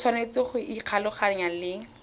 o tshwanetse go ikgolaganya le